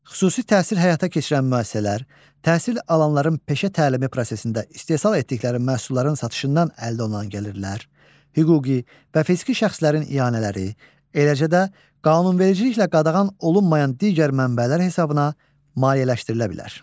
Xüsusi təhsil həyata keçirən müəssisələr təhsil alanların peşə təlimi prosesində istehsal etdikləri məhsulların satışından əldə olunan gəlirlər, hüquqi və fiziki şəxslərin ianələri, eləcə də qanunvericiliklə qadağan olunmayan digər mənbələr hesabına maliyyələşdirilə bilər.